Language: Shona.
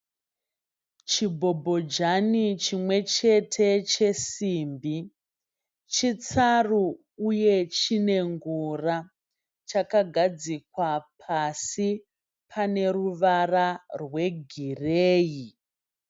Chibhobhojani chimwe chete chesimbi. Chitsaru uye chinengura. Chakagadzikwa pasi pane ruvara rwegireyi.